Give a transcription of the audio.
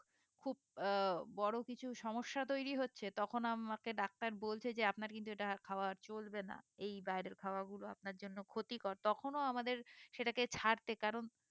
আহ বড়ো কিছু সমস্যা তৈরী হচ্ছে তখন আমাকে ডাক্তার বলছে যে আপনার কিন্তু এটা খাওয়া চলবে না এই বাইরের খাবারগুলো আপনার জন্য ক্ষতিকর তখনও আমাদের সেটাকে ছাড়তে কারণ